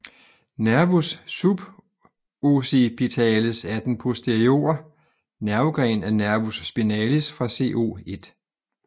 Nervus subocipitalis er den posteriore nervegren af nervus spinalis fra C01